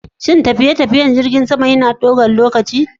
Shin tafiye-tafiyen jirgin sama yana ɗaukar lokaci?